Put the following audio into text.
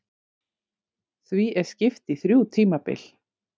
því er skipt í þrjú tímabil